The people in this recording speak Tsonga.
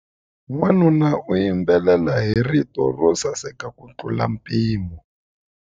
Wanuna u yimbelela hi rito ro saseka kutlula mpimo.